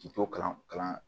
K'i to kalan kalan